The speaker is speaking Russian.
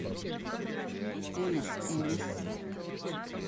элис элис